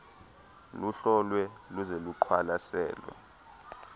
luhlolwe luze luqwalaselwe